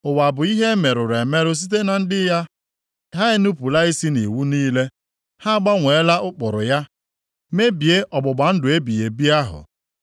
Ụwa bụ ihe e merụrụ emerụ site na ndị ya; ha enupula isi nʼiwu niile, ha agbanweela ụkpụrụ ya, mebie ọgbụgba ndụ ebighị ebi ahụ.